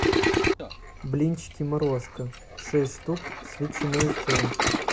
блинчики морозко шесть штук с ветчиной и сыром